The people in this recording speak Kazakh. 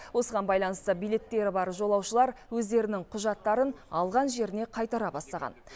осыған байланысты билеттері бар жолаушылар өздерінің құжаттарын алған жеріне қайтара бастаған